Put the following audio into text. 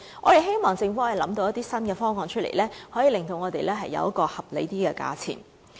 我們希望政府能想出一些新方案，令我們可爭取較合理的價錢。